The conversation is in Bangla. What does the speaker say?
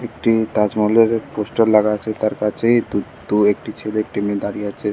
একটি তাজমহলের পোস্টার লাগা আছে তার কাছেই দু দু একটি ছেলে একটি মেয়ে দাঁড়িয়ে আছে --